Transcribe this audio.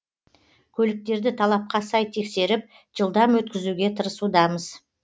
көліктерді талапқа сай тексеріп жылдам өткізуге тырысудамыз